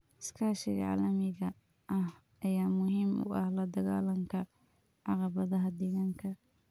Iskaashiga caalamiga ah ayaa muhiim u ah la dagaallanka caqabadaha deegaanka.